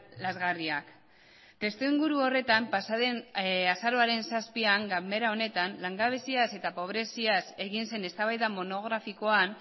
lazgarriak testuinguru horretan pasaden azaroaren zazpian ganbera honetan langabeziaz eta pobreziaz egin zen eztabaida monografikoan